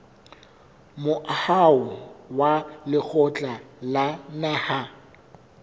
moaho wa lekgotla la naha